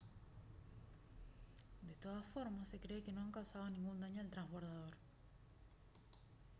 de todas formas se cree que no han causado ningún daño al trasbordador